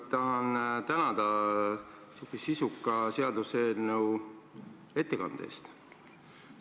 Kõigepealt tahan tänada sisuka seaduseelnõu ettekande eest!